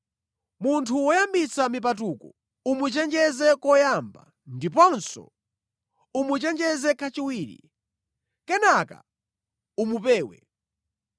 Munthu woyambitsa mipatuko umuchenjeze koyamba, ndiponso umuchenjeze kachiwiri. Kenaka umupewe.